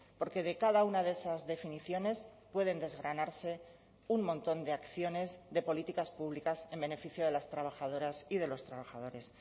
porque de cada una de esas definiciones pueden desgranarse un montón de acciones de políticas públicas en beneficio de las trabajadoras y de los trabajadores